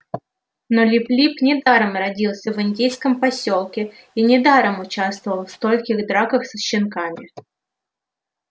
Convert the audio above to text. но лип лип недаром родился в индейском посёлке и недаром участвовал в стольких драках со щенками